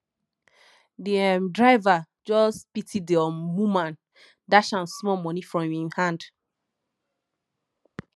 di um driver just pity di um woman dash am small moni from im hand